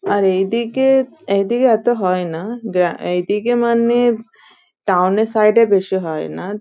আর এদিকে এত হয়ে না এদিকে মানে টাউন এর সাইড এ বেশি হয় না।